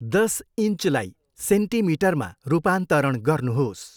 दस इन्चलाई सेन्टिमिटरमा रूपान्तरण गर्नुहोस्।